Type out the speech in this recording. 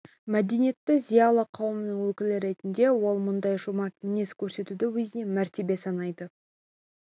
мәдениетті зиялы қауымның өкілі ретінде ол мұндай жомарт мінез көрсетуді өзіне мәртебе санайды